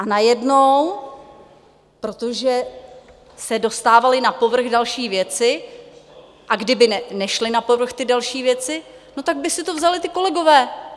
A najednou, protože se dostávaly na povrch další věci, a kdyby nešly na povrch ty další věci, no tak by si to vzali ti kolegové.